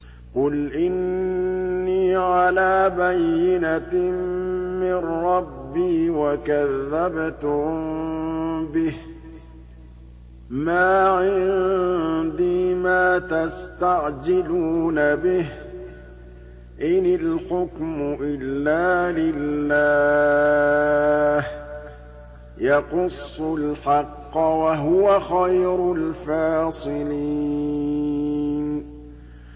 قُلْ إِنِّي عَلَىٰ بَيِّنَةٍ مِّن رَّبِّي وَكَذَّبْتُم بِهِ ۚ مَا عِندِي مَا تَسْتَعْجِلُونَ بِهِ ۚ إِنِ الْحُكْمُ إِلَّا لِلَّهِ ۖ يَقُصُّ الْحَقَّ ۖ وَهُوَ خَيْرُ الْفَاصِلِينَ